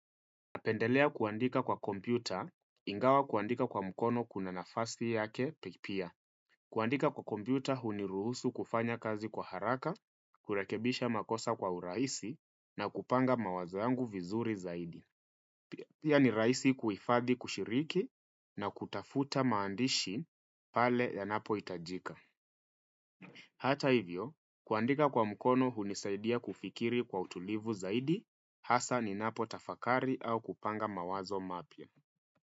Napendelea kuandika kwa kompyuta ingawa kuandika kwa mkono kuna nafasi yake pia. Kuandika kwa kompyuta huniruhusu kufanya kazi kwa haraka, kurekebisha makosa kwa urahisi na kupanga mawazo yangu vizuri zaidi. Pia ni rahisi kuhifadhi kushiriki na kutafuta maandishi pale ya napo hitajika. Hata hivyo, kuandika kwa mkono hunisaidia kufikiri kwa utulivu zaidi, hasa ni napo tafakari au kupanga mawazo mapya.